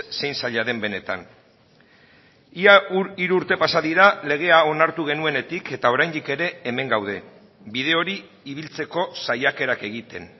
zein zaila den benetan ia hiru urte pasa dira legea onartu genuenetik eta oraindik ere hemen gaude bide hori ibiltzeko saiakerak egiten